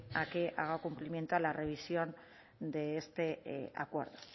a que haga cumplimiento a la revisión de este acuerdo